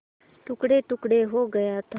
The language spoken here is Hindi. टुकड़ेटुकड़े हो गया था